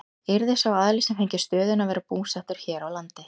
Yrði sá aðili sem fengi stöðuna að vera búsettur hér á landi?